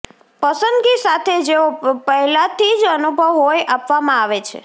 પસંદગી સાથે જેઓ પહેલાથી જ અનુભવ હોય આપવામાં આવી